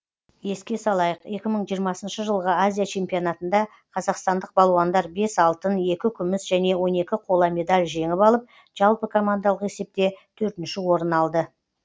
еске салайық екі мың жиырмасыншы жылғы азия чемпионатында қазақстандық балуандар бес алтын екі күміс және он екі қола медаль жеңіп алып жалпы командалық есепте төртінші орын алды